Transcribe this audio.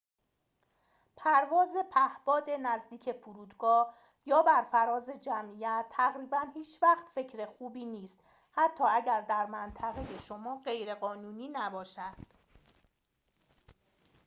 پرواز پهباد نزدیک فرودگاه یا بر فراز جمعیت تقریباً هیچ‌وقت فکر خوبی نیست حتی اگر در منطقه شما غیرقانونی نباشد